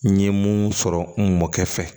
N ye mun sɔrɔ n mɔkɛ fɛ